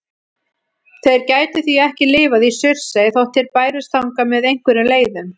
Þeir gætu því ekki lifað í Surtsey þótt þeir bærust þangað með einhverjum leiðum.